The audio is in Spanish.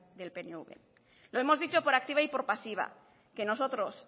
del pnv lo hemos dicho por activa y por pasiva que nosotros